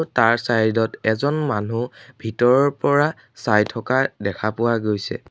তাৰ চাইড ত এজন মানুহ ভিতৰৰ পৰা চাই থকা দেখা পোৱা গৈছে।